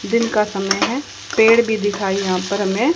दिन का समय है पेड़ भी दिखाई यहा पर हमें--